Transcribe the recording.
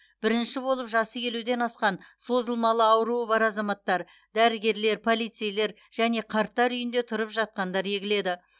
бірінші болып жасы елуден асқан созылмалы ауруы бар азаматтар дәрігерлер полицейлер және қарттар үйінде тұрып жатқандар егіледі